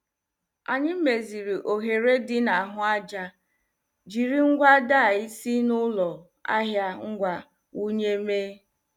Anyị meziri oghere dị na ahụ aja, jiri ngwa DIY si n' ụlọ ahịa ngwa wunye mee.